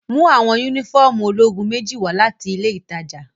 Mu awọn unifọmú ologun meji wa lati ile itaja!